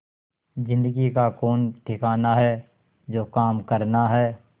जिंदगी का कौन ठिकाना है जो काम करना है